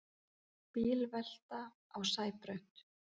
Bílvelta á Sæbraut